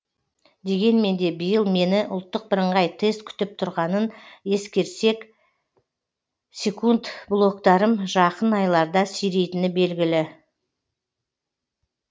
дегенмен де биыл мені ұлттық бірыңғай тест күтіп тұрғанын ескерсек секунд блогтарым жақын айларда сирейтіні белгілі